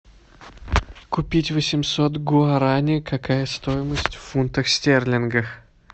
купить восемьсот гуарани какая стоимость в фунтах стерлингах